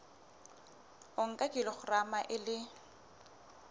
o nka kilograma e le